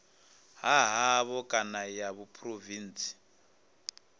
ha havho kana ya phurovintsi